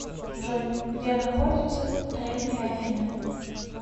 джой где находится древние афины